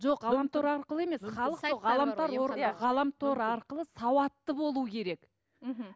жоқ ғаламтор арқылы емес халық ғаламтор арқылы сауатты болу керек мхм